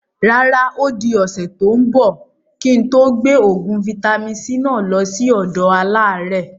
Rárá, odi ọ̀sẹ̀ tòun bọ̀ kí n tó gbé oògùn vitamin-c náà lọ síí ọ̀dọ àlàrẹ́